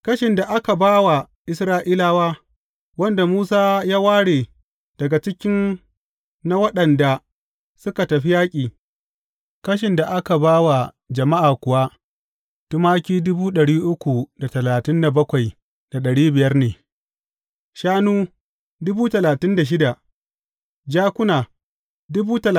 Kashin da aka ba wa Isra’ilawa, wanda Musa ya ware daga cikin na waɗanda suka tafi yaƙi, kashin da aka ba wa jama’a kuwa tumaki ne, shanu dubu talatin da shida, jakuna da mutane